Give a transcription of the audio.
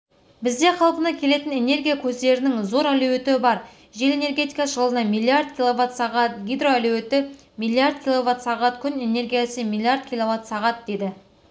бізде қалпына келетін энергия көздерінің зор әлеуеті бар жел энергетикасы жылына миллиард киловатт сағат гидроәлеуеті миллиард киловатт сағат күн энергиясы миллиард киловатт сағат деді